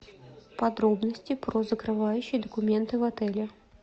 подробности про закрывающие документы в отеле